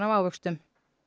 ávöxtum